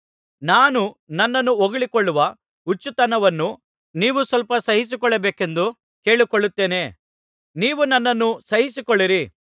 ನಾನು ನನ್ನನ್ನು ಹೊಗಳಿಕೊಳ್ಳುವ ಹುಚ್ಚುತನವನ್ನು ನೀವು ಸ್ವಲ್ಪ ಸಹಿಸಿಕೊಳ್ಳಬೇಕೆಂದು ಕೇಳಿಕೊಳ್ಳುತ್ತೇನೆ ನೀವು ನನ್ನನ್ನು ಸಹಿಸಿಕೊಳ್ಳಿರಿ